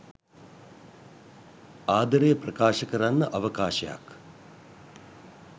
ආදරය ප්‍රකාශ කරන්න අවකාශයක්